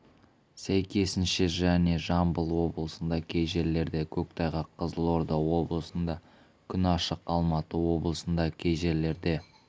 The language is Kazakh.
сәйкесінше және жамбыл облысында кей жерлерде көктайғақ қызылорда облысында күн ашық алматы облысында кей жерлерде